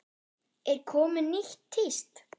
Er komið nýtt tíst?